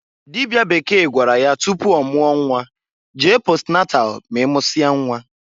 Dịbịa Bekee gwara ya tupu ọmụọ nnwa, "Jee posnatal ma i mụsịa nnwa!"